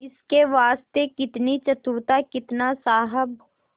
इसके वास्ते कितनी चतुरता कितना साहब